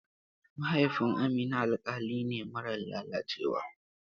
Mahaifin Amina alƙali ne marar lalacewa.